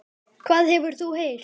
Hvað hefur þú heyrt?